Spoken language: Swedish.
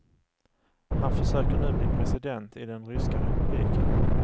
Han försöker nu bli president i den ryska republiken.